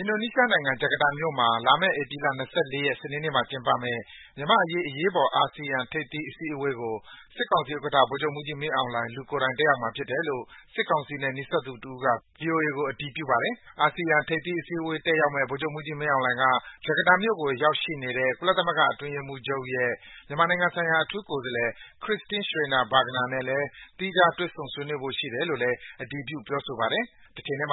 အင်ဒိုနီးရှားနိုင်ငံ ဂျကာကာမြို့မှာ လာမယ့် ဧပြီလ ၂၄ ရက်၊ စနေနေ့မှာကျင်းပမယ့် မြန်မာ့အရေး အရေးပေါ် အာဆီယံ ထိပ်သီးအစည်းအဝေးကို စစ်ကောင်စီဥက္ကဋ္ဌ ဗိုလ်ချုပ်မှူးကြီးမင်းအောင်လှိုင် လူကိုယ်တိုင် တက်ရောက်မှာဖြစ်တယ်လို့ စစ်ကောင်စီနဲ့ နီးစပ်သူတစ်ဦးက VOA ကို အတည်ပြုပါတယ်။ အာဆီယံထိပ်သီး အစည်းအဝေးတက်ရောက်မယ့် ဗိုလ်ချုပ်မှူးကြီးမင်းအောင်လှိုင်ဟာ ဂျကာတာမြို့ကိုရောက်နေတဲ့ ကုလသမဂ္ဂအတွင်းရေးမှူးချုပ်ရဲ့ မြန်မာနိုင်ငံဆိုင်ရာအထူးကိုယ်စားလှယ် Christine Schraner Burgener နဲ့ သီးခြားတွေ့ဆုံ ဆွေးနွေးဖို့ရှိတယ်လို့လည်း အတည်ပြုပြောဆိုပါတယ်။ ဖိလစ်